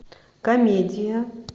комедия